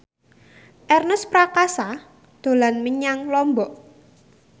Ernest Prakasa dolan menyang Lombok